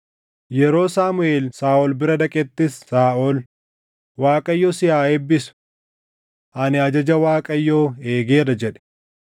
Yeroo Saamuʼeel Saaʼol bira dhaqettis Saaʼol, “ Waaqayyo si haa eebbisu! Ani ajaja Waaqayyoo eegeera” jedhe.